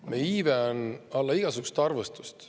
Meie iive on alla igasugust arvestust.